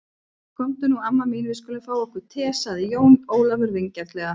Komdu nú amma mín, við skulum fá okkur te, sagði Jón Ólafur vingjarnlega.